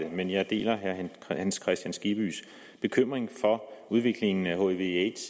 men jeg deler herre hans kristian skibbys bekymring for udviklingen af hivaids